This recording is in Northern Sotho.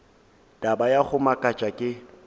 taba ya go makatša ke